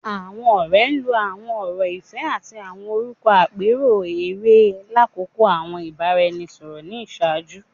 Awọn ọrẹ lo awọn ọrọ ifẹ ati awọn orukọ apeso ere lakoko awọn ibaraẹnisọrọ ni iṣaaju